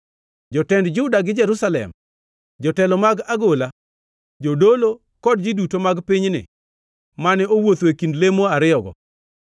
Jotend Juda gi Jerusalem, jotelo mag agola, jodolo kod ji duto mag pinyni mane owuotho e kind lemo ariyogo,